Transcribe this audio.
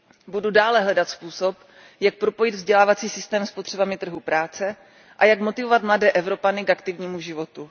Budu dále hledat způsob, jak propojit vzdělávací systém s potřebami trhu práce a jak motivovat mladé Evropany k aktivnímu životu.